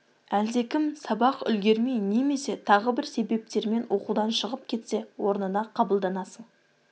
әлдекім сабақ үлгермей немесе тағы бір себептермен оқудан шығып кетсе орнына қабылданасың